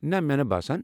نہ، مےٚ نہٕ باسان۔